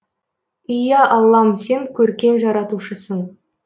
ия аллам сен көркем жаратушысың